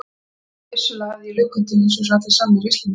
Því vissulega hafði ég löngun til þess eins og allir sannir Íslendingar.